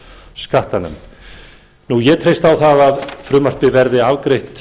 skattanefnd ég treysti á það að frumvarpið verði afgreitt